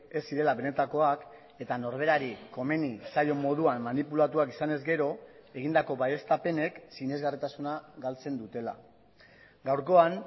ez zirela benetakoak eta norberari komeni zaion moduan manipulatuak izanez gero egindako baieztapenek sinesgarritasuna galtzen dutela gaurkoan